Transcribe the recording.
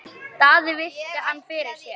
Daði virti hann fyrir sér.